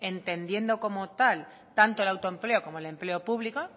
entendiendo como tal tanto el autoempleo como el empleo público